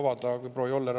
Piisab avada.